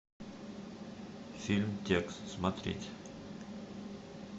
фильм текст смотреть